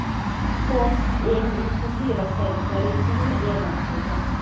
Forbes eng nufuzli rossiyaliklar reytingini e’lon qildi .